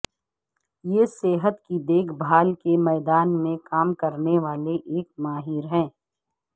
یہ صحت کی دیکھ بھال کے میدان میں کام کرنے والے ایک ماہر ہے